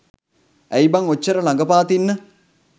ඇයි බං ඕච්චර ළඟපාත ඉන්න